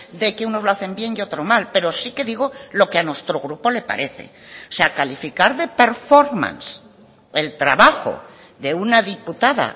de que unos lo hacen bien y otro mal pero sí que digo lo que a nuestro grupo le parece o sea calificar de performance el trabajo de una diputada